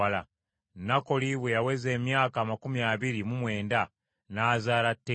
Nakoli bwe yaweza emyaka amakumi abiri mu mwenda n’azaala Teera.